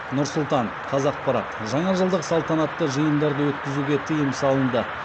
нұр сұлтан қазақпарат жаңажылдық салтанатты жиындарды өткізуге тыйым салынды